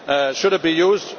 Should it be